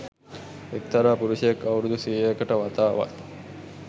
එක්තරා පුරුෂයෙක් අවුරුදු සියයකට වතාවක්